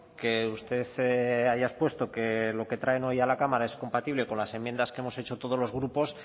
que usted haya expuesto que lo que traen hoy a la cámara es compatible con las enmiendas que hemos hecho todos los grupos